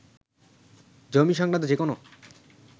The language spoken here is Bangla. জমি সংক্রান্ত যে কোনো